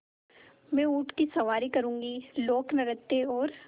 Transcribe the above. मैं ऊँट की सवारी करूँगी लोकनृत्य और